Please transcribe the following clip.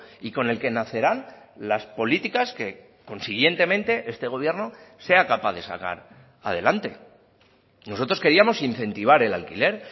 y con el que nacerán las políticas que consiguientemente este gobierno sea capaz de sacar adelante nosotros queríamos incentivar el alquiler